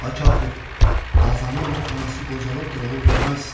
Ay kafir, qazan anası qocalıbdır, oğul verməz."